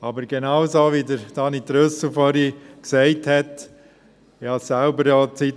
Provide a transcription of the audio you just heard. Aber genau das, was vorhin Daniel Trüssel gesagt hat, stelle auch ich fest: